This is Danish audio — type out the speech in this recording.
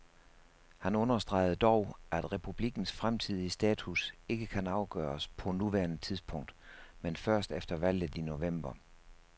Han understregede dog, at republikkens fremtidige status ikke kan afgøres på nuværende tidspunkt, men først efter valget i november.